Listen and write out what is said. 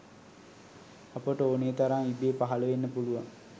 අපට ඕනෙ තරම් ඉබේ පහළ වෙන්න පුළුවන්